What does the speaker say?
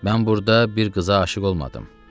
Mən burda bir qıza aşiq olmadım.